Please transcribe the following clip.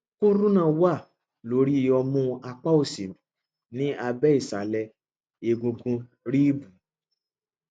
kúrúnà wà lórí ọmú apá òsì ní abẹ ìsàlẹ egungun ríìbù